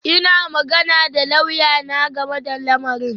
Ina magana da lauyana game da lamarin